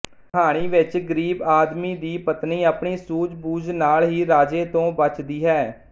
ਕਹਾਣੀ ਵਿੱਚ ਗਰੀਬ ਆਦਮੀ ਦੀ ਪਤਨੀ ਆਪਣੀ ਸੂਝ ਬੂਝ ਨਾਲ ਹੀ ਰਾਜੇ ਤੋਂ ਬਚਦੀ ਹੈ